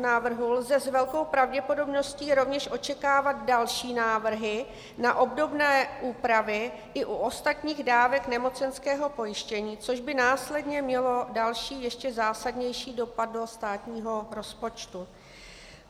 návrhu lze s velkou pravděpodobností rovněž očekávat další návrhy na obdobné úpravy i u ostatních dávek nemocenského pojištění, což by následně mělo další ještě zásadnější dopad do státního rozpočtu.